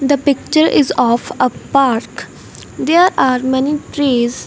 the picture is of a park there are many trees.